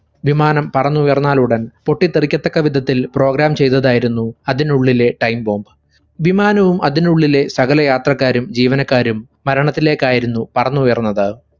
വിമാനം പറന്നുയർന്നാലുടൻ പൊട്ടിത്തെറിക്കത്തക്കവിധത്തിൽ program ചെയ്തതായിരുന്നു അതിനുള്ളിലെ time bomb. വിമാനവും അതിനുള്ളിലെ സകലയാത്രക്കാരും ജീവനക്കാരും മരണത്തിലേക്കായിരുന്നു പറന്നുയർന്നത്.